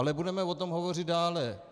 Ale budeme o tom hovořit dále.